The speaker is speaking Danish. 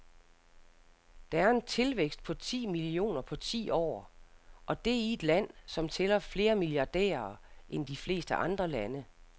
Det er en tilvækst på ti millioner på ti år, og det i et land, som tæller flere milliardærer end de fleste andre lande.